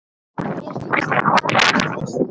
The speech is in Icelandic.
Mér finnst ég kannast við þig!